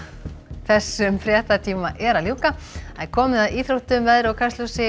þessum fréttatíma er að ljúka og komið að íþróttum veðri og Kastljósi